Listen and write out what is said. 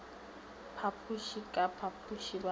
phapoše ka phapoše ba mo